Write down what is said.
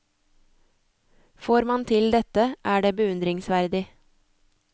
Får man til dette, er det beundringsverdig.